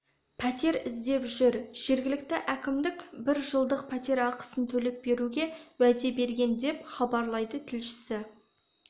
пәтер іздеп жүр жергілікті әкімдік бір жылдық пәтер ақысын төлеп беруге уәде берген деп хабарлайды тілшісі